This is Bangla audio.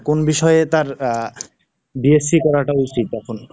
কোন বিষয়ে তার আহ, BSC করাটা উচিত এখন?